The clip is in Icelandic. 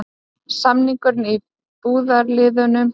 Samningur í burðarliðnum